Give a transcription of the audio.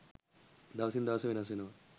දවසින් දවස වෙනස් වෙනවා.